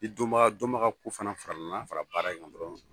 Ni dɔnbaga dɔnbagako fana farala baara in kan dɔrɔn